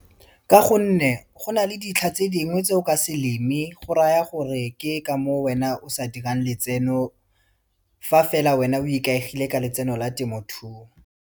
Ka gonne go na le ditlha tse dingwe tse o ka se leme, go raya gore ke ka moo wena o sa dirang letseno, fa fela wena o ikaegile ka letseno la temothuo.